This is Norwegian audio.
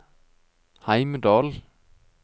Heimdal